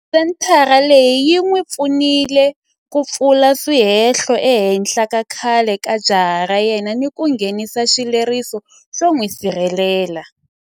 Senthara leyi yi n'wi pfunile ku pfula swihehlo ehenhla ka khale ka jaha ra yena ni ku nghenisa xileriso xo n'wi sirhelela.